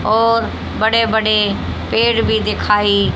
और बड़े बड़े पेड़ भी दिखाई--